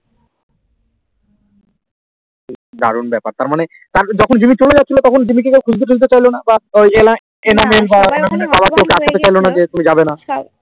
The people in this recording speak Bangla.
দারুন বেপার তার মানে যখন জিম্মি চলে যাচ্ছিলো তখন জমি কেও খুঁজতে চাইলোনা বা যে তুমি যাবেনা